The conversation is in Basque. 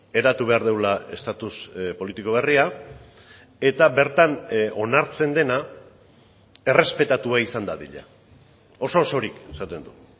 eratu behar dugula estatus politiko berria eta bertan onartzen dena errespetatua izan dadila oso osorik esaten du